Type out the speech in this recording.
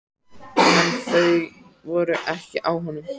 En þau voru ekki á honum!